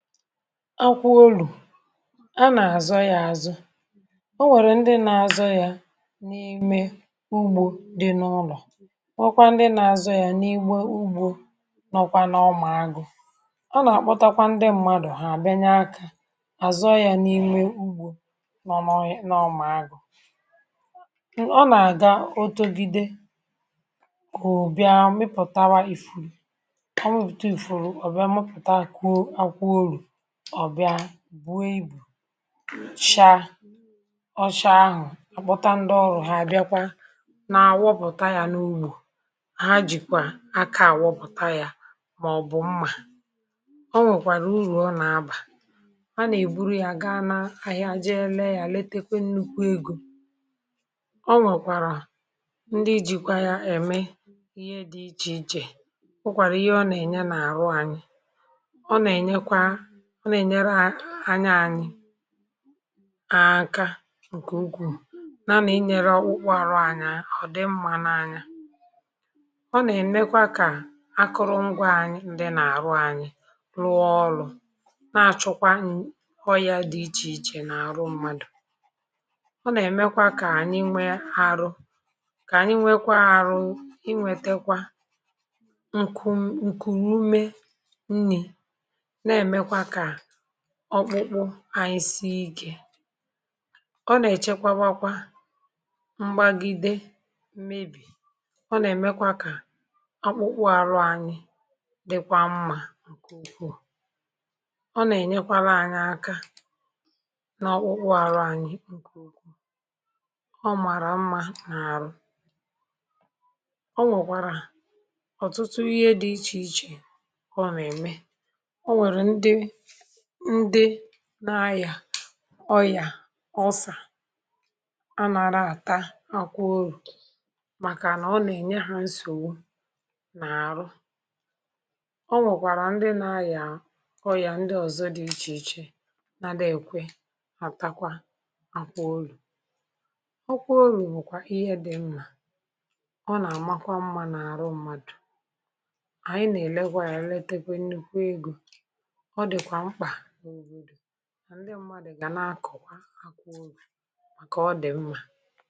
um Akwụ olù a nà-àzọ ya àzụ. Ọ nwèrè ndị na-azọ ya n’ímè ugbò dị n’ụlọ̀, nwekwaa ndị nà-azọ ya n’ígbà ugbò nọkwa n’ọma agụ̇. Ọ nà-àkpọtakwa ndị mmadụ̀...hà àbìnye akà, àzọ ya n’ímè ugbò nọ̀ n’ọma agụ̇. Ọ nà-àga, otogide, òbìa, mịpụ̀tawa ifùrù, mịpụ̀ta ifùrù. Òbìa, mịpụ̀ta ọbịa, buwe ibù, shaa ọcha. Ahù à kpọta, ndị ọrụ̇ hà bịakwa na-awụpụ̀ta ya n’ugbò. Hà jìkwà akà àwọpụ̀ta ya, màọ̀bụ̀ mmà. um Ọ nwèkwàrà ùrù ọ na-abà. A nà-èburu ya gaa n’ahịa, jee lee ya, letekwe nnukwu egò. Ọ nwèkwàrà ndị ijìkwa ya ème ihe dị iche iche. Hụkwàrà ihe ọ nà-ènye um n’ọrụ ànyị. Ọ nà-ènyere anya ànyị, àṅka... nke ukwuù. Nà n’inyere ukwu àrụ anya, ọ̀ dị mma n’anya. Ọ nà-ènyekwa ka akụrụ ngwà ànyị, ndị nà-àrụ, ànyị rụọ ọrụ̇. Na-achụkwa nkwò ya dị̀ iche iche n’ọrụ mmadụ̀, ọ nà-èmekwa ka ànyị nwe arọ, ka ànyị nwekwa arọ, inwetekwa nku, nkùrùme nri̇. Ọ kpụkpụ ànyị si ike. Ọ nà-èchekwabakwa mgbagide mmebì. um Ọ nà-èmekwa ka ọ um kpụkpụ àrụ ànyị dịkwa mma nke ukwuù. Ọ nà-ènyekwa um ànyị aka nà ọ kpụkpụ àrụ ànyị nke ukwuù. Ọ màrà mma n’ọrụ. Ọ nwèkwàrà ọ̀tụtụ um... ihe dị iche iche. Ọ nà-ème ndị na-àyà ọyà, ọsà, (um)ọ nà-àrà, àta akwụ orù, màkà ọ nà-ènye hà nsògbu n’ọrụ. Ọ nwụ̀kwàrà ndị na-àyà ọyà ndị ọzọ dị iche iche, nà-dịkwa atakwa, akwụ orù, ọ kwụọ orù. Màkwà ihe dị m, nà ọ nà-àmakwa mma n’ọrụ mmadụ̀. um Ànyị nà-èlekwa yàra, etepụ̀ nnukwu egò... Ndị mmadụ̀ gà na-akọ̀, wàá akwụ ụlọ̀ màkà ọdị̀ mma.